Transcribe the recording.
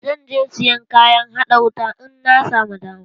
Zan je sayan kayan haɗa wuta in na samu dama.